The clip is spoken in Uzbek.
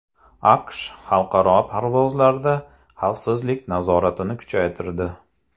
AQSh xalqaro parvozlarda xavfsizlik nazoratini kuchaytirdi.